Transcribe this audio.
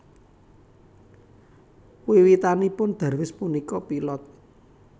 Wiwitanipun Darwis punika pilot